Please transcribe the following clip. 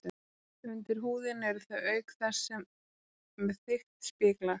Undir húðinni eru þau auk þess með þykkt spiklag.